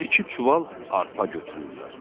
Biri iki çuval arpa götürürlər.